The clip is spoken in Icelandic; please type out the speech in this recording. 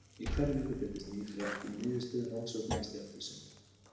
Í hverri viku birtist ný frétt um niðurstöður rannsókna í stjarnvísindum.